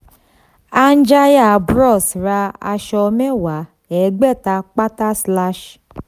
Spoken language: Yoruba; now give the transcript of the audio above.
anjaya bros ra aṣọ mẹ́wàá ẹgbẹ̀ta pátá.